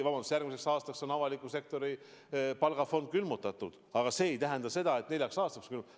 Jaa, järgmiseks aastaks on avaliku sektori palgafond külmutatud, aga see ei tähenda seda, et neljaks aastaks on külmutatud.